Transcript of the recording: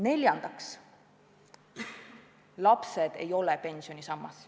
Neljandaks, lapsed ei ole pensionisammas.